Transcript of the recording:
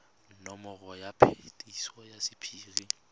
nomoro ya phetiso ya sephiri